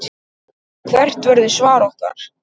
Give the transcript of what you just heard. Hvert verður svar okkar?